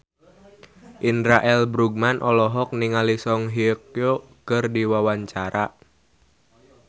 Indra L. Bruggman olohok ningali Song Hye Kyo keur diwawancara